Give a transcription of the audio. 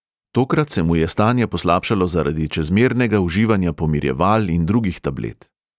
Tokrat se mu je stanje poslabšalo zaradi čezmernega uživanja pomirjeval in drugih tablet.